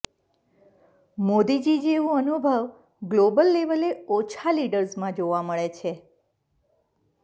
મોદીજી જેવું અનુભવ ગ્લોબલ લેવલે ઓછા લીડર્સમાં જોવા મળે છે